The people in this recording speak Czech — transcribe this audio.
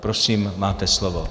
Prosím, máte slovo.